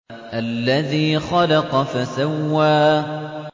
الَّذِي خَلَقَ فَسَوَّىٰ